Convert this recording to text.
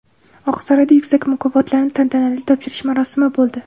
Oqsaroyda yuksak mukofotlarni tantanali topshirish marosimi bo‘ldi.